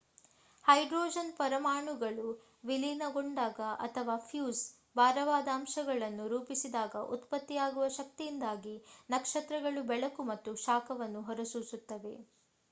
hydrogen ಪರಮಾಣುಗಳು ವಿಲೀನಗೊಂಡಾಗ ಅಥವಾ ಫ್ಯೂಸ್ ಭಾರವಾದ ಅಂಶಗಳನ್ನು ರೂಪಿಸಿದಾಗ ಉತ್ಪತ್ತಿಯಾಗುವ ಶಕ್ತಿಯಿಂದಾಗಿ ನಕ್ಷತ್ರಗಳು ಬೆಳಕು ಮತ್ತು ಶಾಖವನ್ನು ಹೊರಸೂಸುತ್ತವೆ